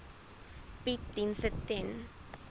bied dienste ten